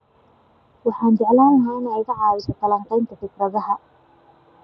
Waxaan jeclaan lahaa inay iga caawiso falanqaynta fikradaha